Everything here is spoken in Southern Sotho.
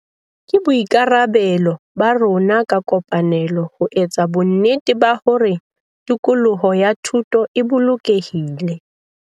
Ke boikarabelo ba rona ka kopanelo ho etsa bonnete ba hore tikoloho ya thuto e bolokehile.